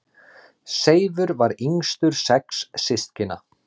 Seifur var yngstur sex systkina.